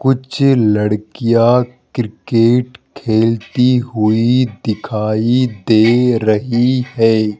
कुछ लड़कियां क्रिकेट खेलती हुई दिखाई दे रही है।